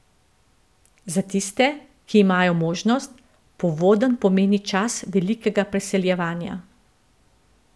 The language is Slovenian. Za tiste, ki imajo možnost, povodenj pomeni čas velikega preseljevanja.